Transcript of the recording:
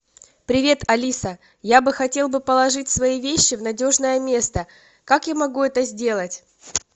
привет алиса я бы хотел бы положить свои вещи в надежное место как я могу это сделать